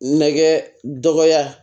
Nɛgɛ dɔgɔya